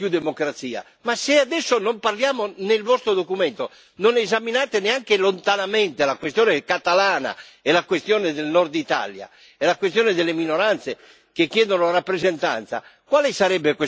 Ma se adesso non ne parliamo, se nel vostro documento non esaminate neanche lontanamente la questione catalana, la questione del nord Italia e la questione delle minoranze che chiedono rappresentanza, quale sarebbe questa nuova democrazia?